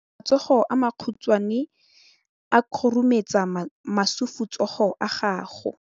Matsogo a makhutshwane a khurumetsa masufutsogo a gago.